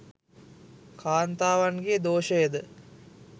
කාන්තාවන්ගේ් දෝෂයද